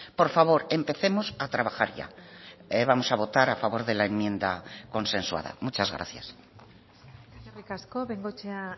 por favor empecemos a trabajar ya vamos a votar a favor de la enmienda consensuada muchas gracias eskerrik asko bengoechea